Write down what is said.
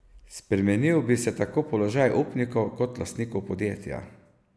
Spremenil bi se tako položaj upnikov kot lastnikov podjetja.